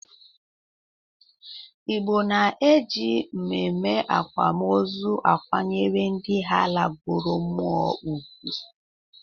Igbo na-eji ememe akwam ozu akwanyere ndị ha lagoro mmụọ ugwu.